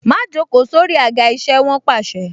Má joko sórí àga isẹ! Wọn pàṣẹ.